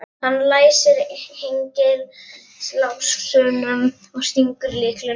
Hann læsir hengilásnum og stingur lyklinum í vasann.